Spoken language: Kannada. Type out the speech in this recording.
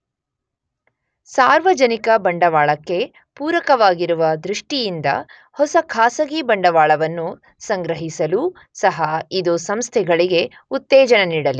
ಸಾರ್ವಜನಿಕ ಬಂಡವಾಳಕ್ಕೆ ಪೂರಕವಾಗಿರುವ ದೃಷ್ಟಿಯಿಂದ ಹೊಸ ಖಾಸಗಿ ಬಂಡವಾಳವನ್ನು ಸಂಗ್ರಹಿಸಲೂ ಸಹ ಇದು ಸಂಸ್ಥೆಗಳಿಗೆ ಉತ್ತೇಜನ ನೀಡಲಿದೆ.